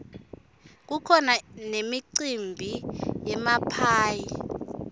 kukhona nemicimbi yemaphayhi